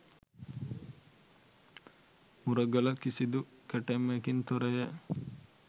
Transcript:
මුරගල කිසිදු කැටයමකින් තොරය.